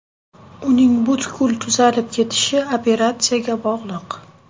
Uning butkul tuzalib ketishi operatsiyaga bog‘liq.